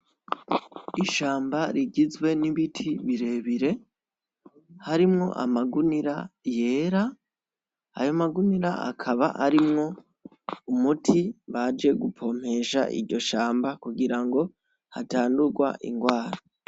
Ishamba rigizwe n'ibiti birebire harimwo amagunira yera ayo amagunira akaba arimwo umuti baje gupompesha iryo shamba kugira ngo hatandurwa ingwara.